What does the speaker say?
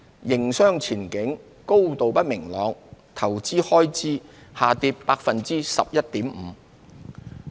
營商前景高度不明朗，投資開支下跌 11.5%。